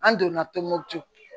An donna tɔnbukutu